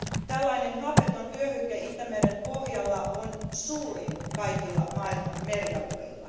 Tällainen hapeton vyöhyke Itämeren pohjalla on suurin kaikilla maailman merialueilla.